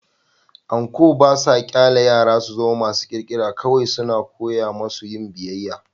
Anko ba sa ƙyale yara su zama masu ƙirƙira - kawai suna koya musu yin biyayya.